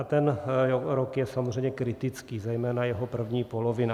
A ten rok je samozřejmě kritický, zejména jeho první polovina.